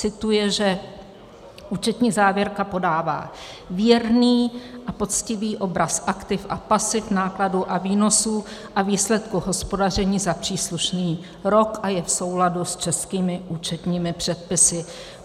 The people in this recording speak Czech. Cituje, že účetní závěrka podává věrný a poctivý obraz aktiv a pasiv, nákladů a výnosů a výsledku hospodaření za příslušný rok a je v souladu s českými účetními předpisy.